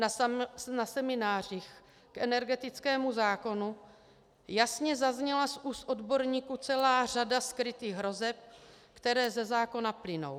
Na seminářích k energetickému zákonu jasně zazněla z úst odborníků celá řada skrytých hrozeb, které ze zákona plynou.